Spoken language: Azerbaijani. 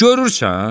Görürsən?